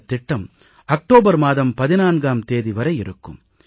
இந்தத் திட்டம் அக்டோபர் மாதம் 14ஆம் தேதி வரை இருக்கும்